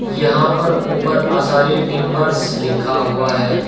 यहां पर ऊपर अंसारी टिंबर्स लिखा हुआ है।